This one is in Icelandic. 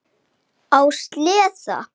Á sleða.